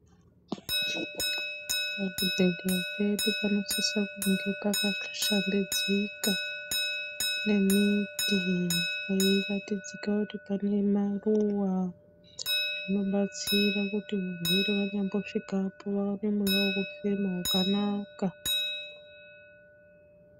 Pazvibhedhleya pedu panosisa kunge pakashambidzika pane miti peiratidzika kuti pane maruva. Zvinobatsira kuti varwere vanyambosvikapo vawane mweya wekufema wakanaka.